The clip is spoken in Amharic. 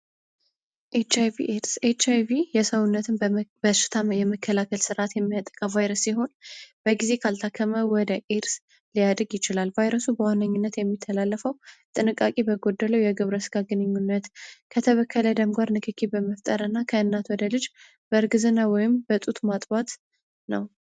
ኤች አይ ቪ አዲስ የሰውነትን በሽታም የመከላከል ስርዓት የሚያጠቀብ ቫይረስ ሲሆን በጊዜ ካልታከመው ወደ ኢርስ ሊያድርግ ይችላል። ቫይረሱ በዋነኝነት የሚተላለፈው ጥንቃቂ በጎደለው የግብረ ስጋ ግንኙነት ከተበከለ ደምጓር ንክኪ በመፍጠር እና ከእናት ወደ ልጅ በእርግዝና ወይም በጡት ማጥዋት ነው።